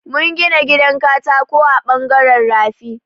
Mun gina gidan katako a ɓangaren rafi.